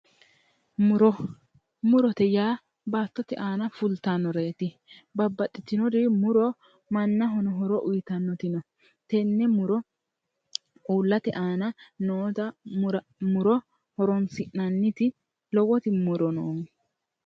Muro. Murote yaa baattote aana fultannoreeti. Babbaxxitinori muro mannahono horo uyitannori no. Tenne muro uullate aana noota muro horoonsi'nanniti lowoti muro noonke.